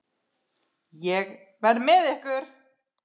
Ég verð með ykkur.